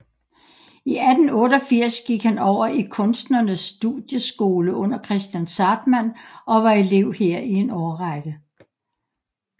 I 1888 gik han over i Kunstnernes Studieskole under Kristian Zahrtmann og var elev her i en årrække